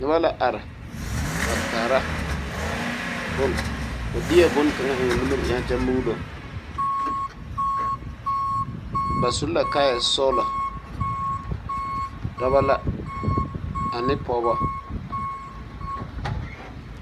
Noba la are a kaara bone o deɛ bone kaŋa eŋ o nimiri eŋɛ kyɛ muulo ba su la kaayɛsɔɡelɔ dɔbɔ la ane pɔɡebɔ.